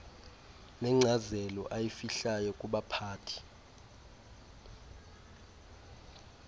nenkcazelo ayifihlayo kubaphathi